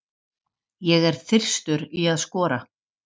Ég er þyrstur í að skora.